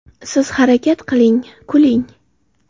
– Siz harakat qiling, kuling.